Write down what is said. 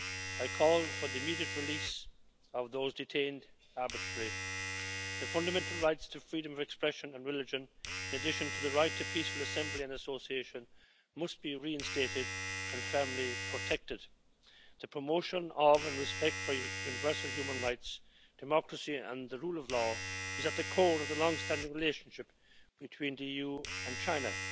I call for the immediate release of those detained arbitrarily. The fundamental rights to freedom of expression and religion, in addition to the right to peaceful assembly and association, must be reinstated and firmly protected. The promotion of, and respect for, universal human rights, democracy and the rule of law is at the core of the longstanding relationship between the EU and China.